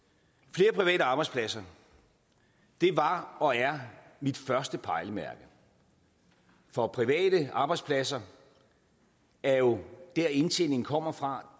flere private arbejdspladser var og er mit første pejlemærke for private arbejdspladser er jo dér indtjeningen kommer fra